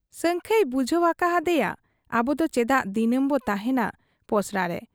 ᱥᱟᱹᱝᱠᱷᱟᱹᱭ ᱵᱩᱡᱷᱟᱹᱣ ᱟᱠᱟ ᱦᱟᱫᱮᱭᱟ ᱟᱵᱚᱫᱚ ᱪᱮᱫᱟᱜ ᱫᱤᱱᱟᱹᱢ ᱵᱚ ᱛᱟᱦᱭᱮᱸᱱᱟ ᱯᱚᱥᱲᱟᱨᱮ ?